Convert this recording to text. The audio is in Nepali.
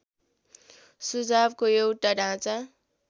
सुझावको एउटा ढाँचा